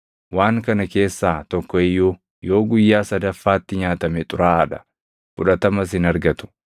Waan kana keessaa tokko iyyuu yoo guyyaa sadaffaatti nyaatame xuraaʼaa dha; fudhatamas hin argatu.